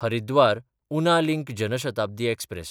हरिद्वार–उना link Janshatabdi express